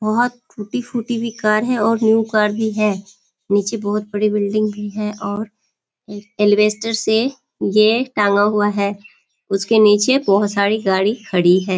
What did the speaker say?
बहुत टूटी-फूटी भी कार है और न्यू कार भी है। निचे बहुत बड़ी बिल्डिंग भी है और अलवेस्टर से ये टांगा हुआ है। उसके निचे बहुत सारी गाड़ी खड़ी है।